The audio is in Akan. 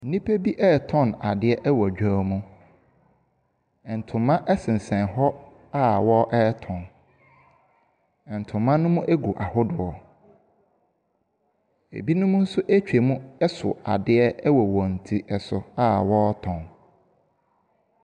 Nipa bi retɔn adeɛ ɛwɔ dwom. Ntoma ɛsensen hɔ a ɔretɔn. Ntoma no gu ahodoɔ. Ebinom nso eetwa mu ɛso adeɛ wɔ wɔn ti so a wɔretɔn.